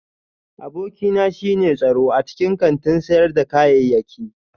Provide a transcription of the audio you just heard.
Abokina shine tsaro a cikin kantin sayar da kayayyaki